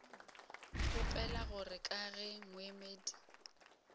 kgopela gore ka ge moemedi